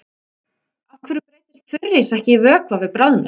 Af hverju breytist þurrís ekki í vökva við bráðnun?